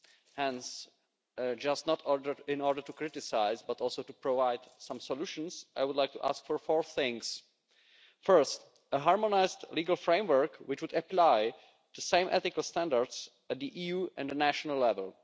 And in order not just to criticise, but also to provide some solutions, I would like to ask for four things first, a harmonised legal framework, which would apply the same ethical standards at EU and national level